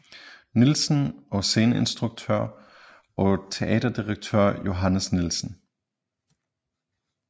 Nielsen og sceneinstruktør og teaterdirektør Johannes Nielsen